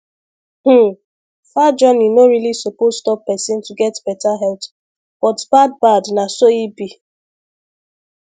hmm far journey no really suppose stop person to get better health but bad bad na so e be